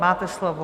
Máte slovo.